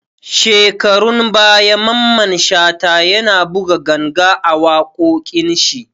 Shekarun baya Maman Shata ya na buga ganga a waƙoƙin shi